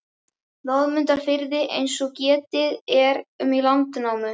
Loðmundarfirði eins og getið er um í Landnámu.